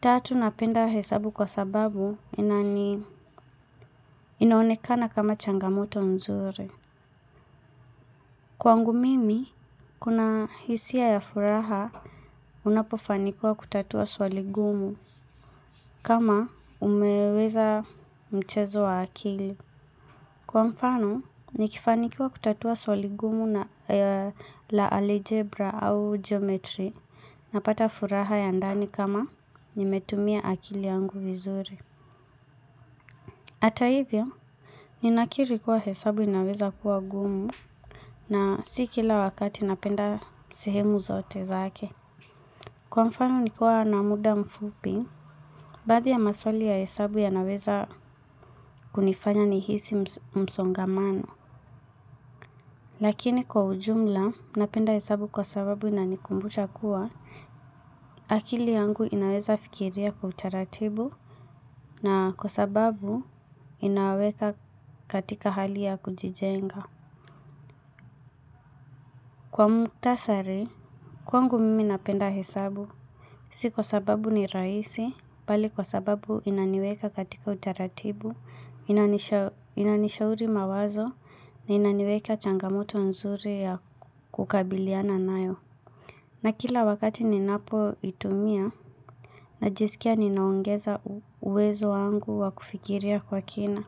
Tatu napenda hesabu kwa sababu inaonekana kama changamoto nzuri. Kwangu mimi, kuna hisia ya furaha unapofanikiwa kutatua swali gumu kama umeuweza mchezo wa akili. Kwa mfano, nikifanikiwa kutatua swali gumu la algebra au geometry napata furaha ya ndani kama nimetumia akili yangu vizuri. Ata hivyo, ninakiri kuwa hesabu inaweza kuwa gumu na si kila wakati napenda sehemu zote zake. Kwa mfano nikiwa na muda mfupi, baadhi ya maswali ya hesabu yanaweza kunifanya nihisi msongamano. Lakini kwa ujumla, napenda hesabu kwa sababu inanikumbucha kuwa, akili yangu inaweza fikiria kwa utaratibu na kwa sababu inaweka katika hali ya kujijenga. Kwa muktasari, kwangu mimi napenda hesabu. Si kwa sababu ni raisi, bali kwa sababu inaniweka katika utaratibu, inanishauri mawazo, na inaniweka changamoto nzuri ya kukabiliana nayo. Na kila wakati ninapo itumia, najisikia ninaongeza uwezo wangu wa kufikiria kwa kina.